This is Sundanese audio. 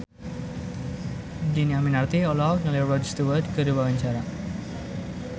Dhini Aminarti olohok ningali Rod Stewart keur diwawancara